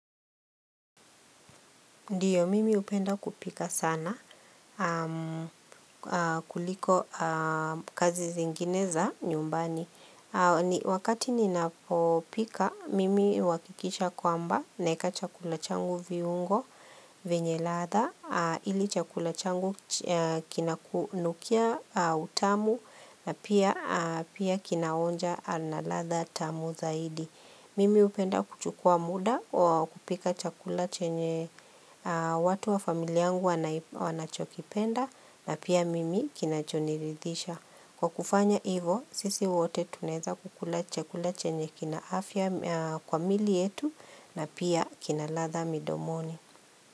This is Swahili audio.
Ndiyo, mimi hupenda kupika sana, kuliko kazi zingine za nyumbani. Wakati ninapopika, mimi huhakikisha kwamba, naeka chakula changu viungo, venye ladha, ili chakula changu kinakunukia utamu, na pia kinaonja na ladha tamu zaidi. Mimi hupenda kuchukua muda wa kupika chakula chenye watu wa familia yangu wanachokipenda na pia mimi kinachoniridhisha. Kwa kufanya hivo, sisi wote tunaeza kukula chakula chenye kina afya kwa miili yetu na pia kina ladha midomoni.